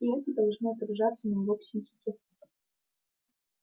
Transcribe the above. и это должно отражаться на его психике